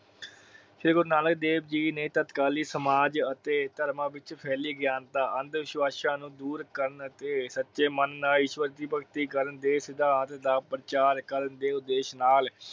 ਸ਼੍ਰੀ ਗੁਰੂ ਨਾਨਕ ਦੇਵ ਜੀ ਨੇ ਤੱਤਕਾਲੀ ਸਮਾਜ ਅਤੇ ਧਰਮਾਂ ਵਿਚ ਫੈਲੇ ਗਿਆਨ ਦਾ ਅੰਦ ਵਿਸ਼ਵਾਸ ਨੂੰ ਦੁਰ ਕਾਰਨ ਅਤੇ ਸੱਚੇ ਮਨ ਨਾਲ ਈਸ਼ਵਰ ਦੀ ਭਗਤੀ ਕਰਨ ਦੇ ਸਿਧਾਂਤ ਦਾ ਪ੍ਰਚਾਰ ਕਰਨ ਦੇ ਉਦੇਸ਼ ਨਾਲ